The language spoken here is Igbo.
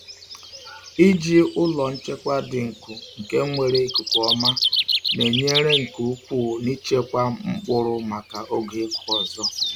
Iji ụlọ nchekwa dị nkụ nke nwere ikuku ọma na-enyere nke ukwuu n’ịchekwa mkpụrụ maka oge ịkụ ọzọ.